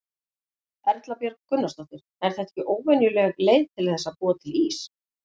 Erla Björg Gunnarsdóttir: Er þetta ekki óvenjuleg leið til þess að búa til ís?